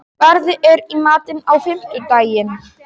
Barði, hvað er í matinn á fimmtudaginn?